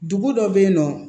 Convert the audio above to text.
Dugu dɔ bɛ yen nɔ